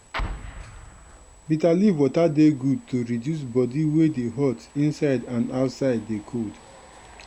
bitter leaf water dey good to reduce body wey dey hot inside and outside dey cold.